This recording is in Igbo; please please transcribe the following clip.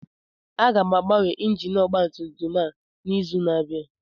Aga m agbanwe injin ọgba tum tum a n'izu na-abịa